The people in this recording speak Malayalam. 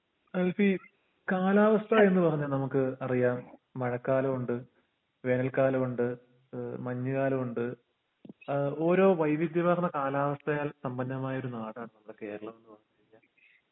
ആൻസി കാലാവസ്ഥയെന്ന് പറഞ്ഞ നമ്മുക്ക് അറിയാം മഴക്കാലുണ്ട് വേനൽക്കാലുണ്ട് ഏഹ് മഞ്ഞ്കാലുണ്ട് ഏഹ് ഓരോ വൈവിധ്യമേർന്ന കാലാവസ്ഥയെ സമ്പന്നമായിരുന്നൊരു നാടാണ് നമ്മുടെ കേരളം ന്ന് പറഞ്ഞ് കഴിഞ്ഞ